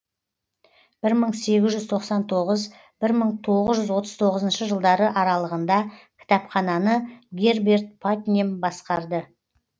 бір мың сегіз жүз тоқсан тоғыз бір мың тоғыз жүз отыз тоғызыншы аралығында кітапхананы герберт патнем басқарды